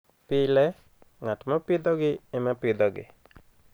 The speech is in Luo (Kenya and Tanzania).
Pile, ng'at ma pidhogi ema pidhogi.